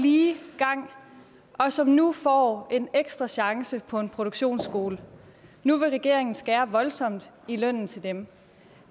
lige vej og som nu får en ekstra chance på en produktionsskole nu vil regeringen skære voldsomt i lønnen til dem